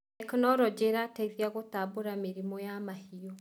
Tekinologĩ ĩrateithia gũtambũra mĩrimũ ya mahiũ.